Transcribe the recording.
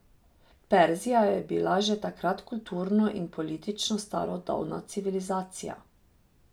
Perzija je bila že takrat kulturno in politično starodavna civilizacija.